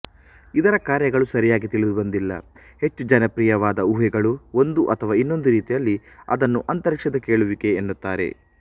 ಇದರ ಕಾರ್ಯಗಳು ಸರಿಯಾಗಿ ತಿಳಿದುಬಂದಿಲ್ಲ ಹೆಚ್ಚು ಜನಪ್ರಿಯವಾದ ಊಹೆಗಳು ಒಂದು ಅಥವಾ ಇನ್ನೊಂದು ರೀತಿಯಲ್ಲಿ ಅದನ್ನು ಅಂತರಿಕ್ಷದ ಕೇಳುವಿಕೆ ಎನ್ನುತ್ತಾರೆ